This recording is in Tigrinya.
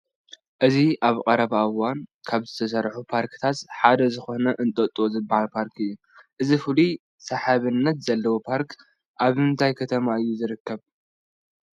እዚ ኣብ ቀረባ እዋን ካብ ዝተሰርሑ ፓርክታት ሓደ ዝኾነ እንጦጦ ዝበሃል ፓርክ እዩ፡፡ እዚ ፍሉይ ሰሓቢነት ዘለዎ ፓርክ ኣብ ምንታይ ከተማ እዩ ዝርከብ?